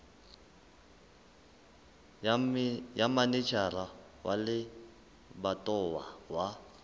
ya manejara wa lebatowa wa